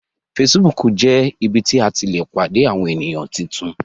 Facebook jé ibí tí a tí lẹ pàdé Àwọ̀n ènìyàn títún